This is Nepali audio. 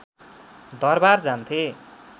दरबार जान्थे